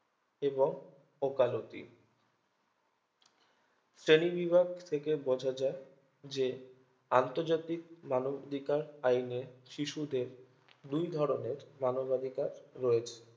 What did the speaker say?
এবং ওকালতি শ্রেণীবিভাগ থেকে বোঝা যায় যে আন্তর্জাতিক মানবধিকার আইনে শিশুদের দুই ধরণের মানবাধিকার রয়েছে